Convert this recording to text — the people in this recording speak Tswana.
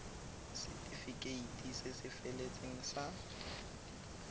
setefikeiti se se feletseng sa